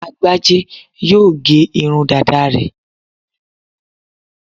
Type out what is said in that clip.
Agbájé yóò gé irun dàda rẹ̀